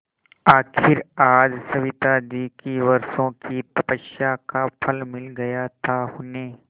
आखिर आज सविताजी की वर्षों की तपस्या का फल मिल गया था उन्हें